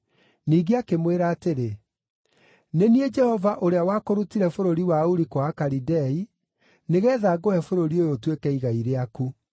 Ningĩ akĩmwĩra atĩrĩ, “Nĩ niĩ Jehova ũrĩa wakũrutire bũrũri wa Uri-kwa-Akalidei, nĩgeetha ngũhe bũrũri ũyũ ũtuĩke igai rĩaku.”